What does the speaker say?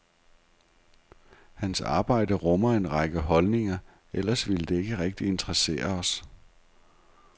Hans arbejde rummer en række holdninger, ellers ville det ikke rigtig interessere os.